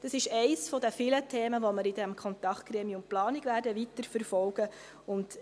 Es ist eines der vielen Themen, welche wir in diesem Kontaktgremium Planung weiterverfolgen werden.